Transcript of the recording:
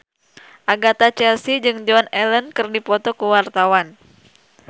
Agatha Chelsea jeung Joan Allen keur dipoto ku wartawan